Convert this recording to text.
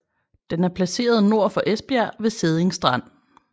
Den er placeret nord for Esbjerg ved Sædding Strand